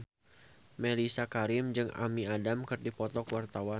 Mellisa Karim jeung Amy Adams keur dipoto ku wartawan